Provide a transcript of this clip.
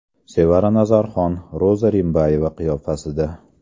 Sevara Nazarxon Roza Rimbayeva qiyofasida.